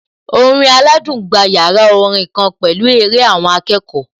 Orin aládùn gba yàrá orin kan pẹ̀lú eré àwọn akẹ́kọ̀ọ́